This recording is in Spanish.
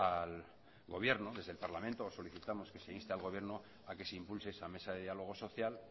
al gobierno desde el parlamento solicitamos que se inste al gobierno a que se impulse esa mesa de diálogo social